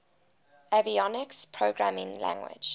avionics programming language